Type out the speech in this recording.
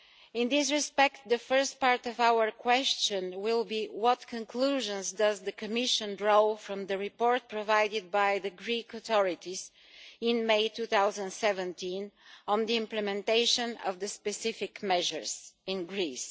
In this respect, the first part of our question will be what conclusions does the Commission draw from the report provided by the Greek authorities in May 2017 on the implementation of the specific measures in Greece?